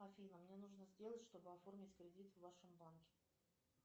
афина мне нужно сделать чтобы оформить кредит в вашем банке